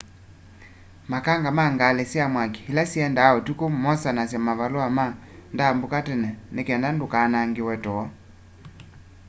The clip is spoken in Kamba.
makanga ma ngali sya mwaki ila siendaa utuku mosanasya mavalua ma ndambuka tene ni kenda ndukanangiwe too